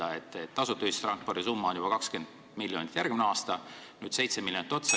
Nii-öelda tasuta ühistranspordi summa on järgmisel aastal juba 20 miljonit, nüüd tuleb 7 miljonit otsa.